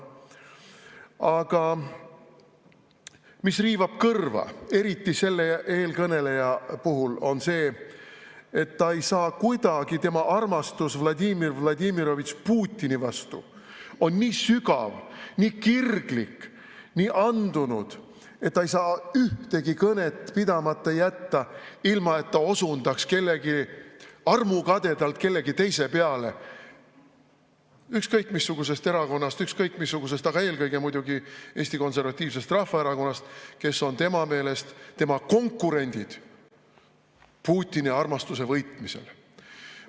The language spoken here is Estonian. Aga mis riivab kõrva, eriti selle eelkõneleja puhul, on see, et tema armastus Vladimir Vladimirovitš Putini vastu on nii sügav, nii kirglik, nii andunud, et ta ei saa ühtegi kõnet pidamata jätta, ilma et ta osundaks armukadedalt kellegi teise peale, ükskõik missugusest erakonnast – ükskõik missugusest, aga eelkõige muidugi Eesti Konservatiivsest Rahvaerakonnast –, kes on tema meelest tema konkurent Putini armastuse võitmisel.